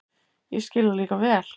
Ég skil það líka vel.